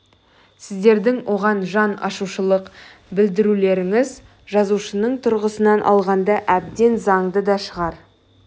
сіздердің оған жан ашушылық білдірулеріңіз жазушының тұрғысынан алғанда әбден заңды да шығар